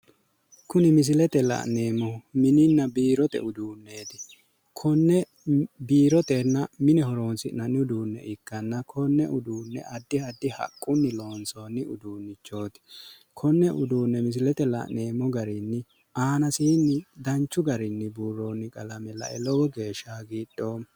Kuni misilete la'neemmohu minininna biiorte uduunneeti konne biirotenna mine horonsi'nanni uduunne ikkanna konne uduunne addi addi haqqunni loonsoonni uduunnneeti konne uduunne misiletenni la'neemmo garinn aanasiinni danchu garinni buurroonni qalame la"e lowo geeshsha hagidhoommo.